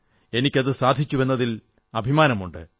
എനിക്കതു സാധിച്ചുവെന്നതിൽ എനിക്ക് അഭിമാനമുണ്ട്